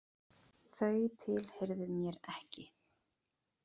Þau tilheyrðu mér ekki.